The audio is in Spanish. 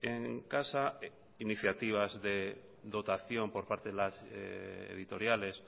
en casa iniciativas de dotación por parte de las editoriales